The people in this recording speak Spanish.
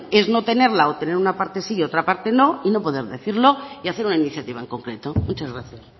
es no tenerla o tener una parte sí y otra parte no y no poder decirlo y hacer una iniciativa en concreto muchas gracias